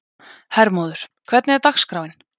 Hermóður, hvernig er dagskráin?